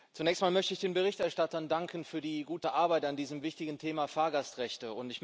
Zunächst mal möchte ich den Berichterstattern danken für die gute Arbeit an diesem wichtigen Thema Fahrgastrechte.